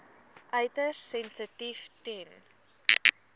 uiters sensitief ten